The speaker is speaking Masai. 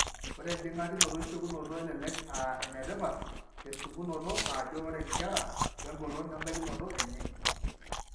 Ore enjing'akinoto esiokinoto elelek aa enetipat tesipunoto aajo ore inkera oengolon embaikinoto enye.